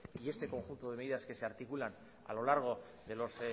y este conjunto de medidas que se articulan a lo largo de los